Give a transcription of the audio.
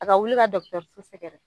A ka wuli ka dɔgɔtɔrɔso sɛgɛrɛ.